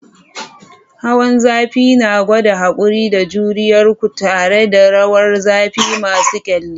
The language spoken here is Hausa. Hawan zafi na gwada haƙuri da juriyar ku tare da rawar zafi masu ƙyalli.